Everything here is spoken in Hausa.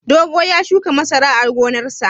Dogo ya shuka masara a gonarsa.